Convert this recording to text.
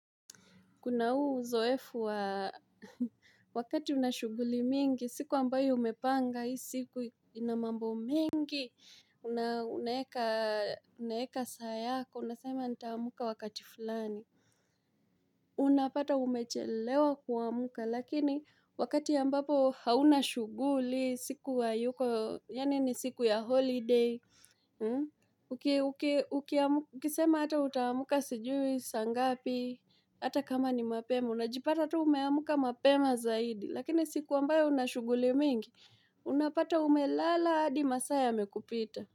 Kuna huu uzoefu wa wakati una shughuli mingi, siku ambayo umepanga, hii siku ina mambo mingi, unaeka saa yako, unasema nitamka wakati fulani. Unapata umechelewa kuamuka, lakini wakati ambapo hauna shughuli, siku hayuko, yani ni siku ya holiday. Ukisema ata utamka sijui, saa ngapi, ata kama ni mapema Unajipata ata umeamka mapema zaidi Lakini siku ambayo una shughuli mingi Unapata umelala hadi masaa yamekupita.